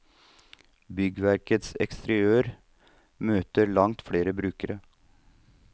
Byggverkets eksteriør møter langt flere brukere.